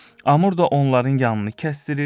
Amur da onların yanını kəsdiyir,